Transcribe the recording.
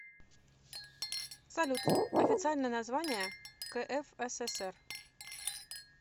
салют официальное название кфсср